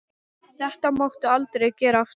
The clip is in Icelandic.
Þetta máttu aldrei gera aftur!